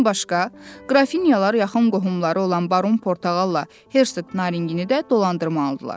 Bundan başqa, qrafinyalar yaxın qohumları olan Baron Portağalla Hersog Naringini də dolandırmalıdırlar.